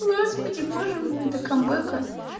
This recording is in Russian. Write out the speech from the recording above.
господи боже мой до камбэка